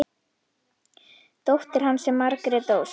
Dóttir hans er Margrét Ósk.